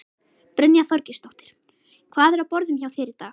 Brynja Þorgeirsdóttir: Hvað er á borðum hjá þér í dag?